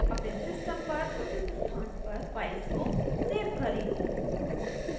अपने system पर उचित स्थान पर files को सेव करें